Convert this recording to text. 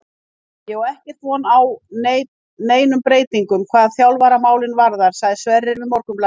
Ég á ekkert von á neinum breytingum hvað þjálfaramálin varðar, sagði Sverrir við Morgunblaðið.